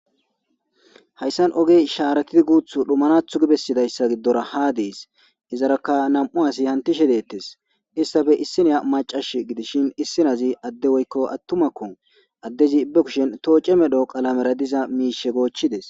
Hayssan ogey ishaaratidi guuthu dhumanathu gibessidayssa giddora haa dees izarakka nam'u asi hantishe deettes issafe issineya macash gidishin issinazi adde woykko attumakkon addezi ibe kushen tooce medho qalamera diza miishe goochchides.